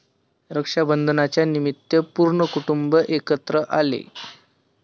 रक्षाबंधनाच्यानिमित्त पूर्ण कुटुंब एकत्र आले.